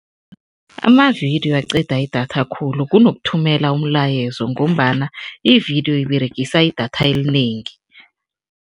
Amavidiyo aqeda idatha khulu kunokuthumela umlayezo ngombana ividiyo iberegisa idatha elinengi.